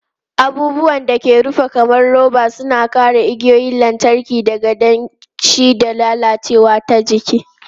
Abubuwan da aka rufe kamar roba suna kare igiyoyin lantarki daga danshi da lalacewa ta jiki.